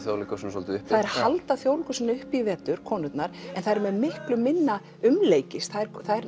Þjóðleikhúsinu svolítið uppi þær halda Þjóðleikhúsinu uppi í vetur konurnar en þær eru með miklu minna umleikis þær